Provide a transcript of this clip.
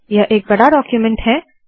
यह एक बड़ा डाक्यूमेन्ट है